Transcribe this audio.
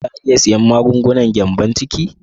Za a iya siyan magungunan gyambon ciki?